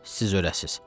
Siz örəsiz.